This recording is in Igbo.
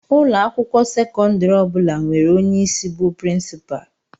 Ụlọ akwụkwọ sekọndrị ọ bụla nwere onye isi bu princupalu.